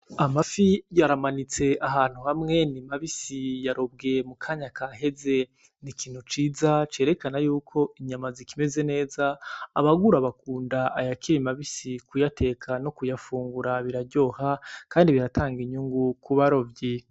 Amafi yaramanitse ahantu hamwe nimabisi yarobwe mu kanya kaheze ni ikintu ciza cerekana yuko inyama zikimeze neza abagura bakunda ayakira imabisi kuyateka no kuyafungura biraryoha, kandi biratanga inyungu kubarovyi.